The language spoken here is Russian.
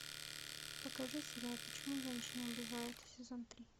покажи сериал почему женщины убивают сезон три